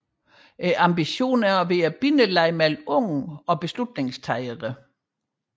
Ambitionen er at være bindeleddet mellem unge og beslutningstagere